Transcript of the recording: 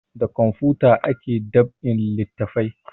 Da kamfuta ake dab'in littafai